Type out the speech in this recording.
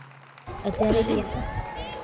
અત્યારે દેખૂ